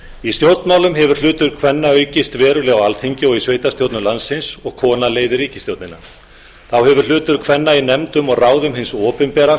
í stjórnmálum hefur hlutverk kvenna aukist verulega á alþingi og í sveitarstjórnum landsins og kona leiðir ríkisstjórnina þá hefur hlutur kvenna í nefndum og ráðum hins opinbera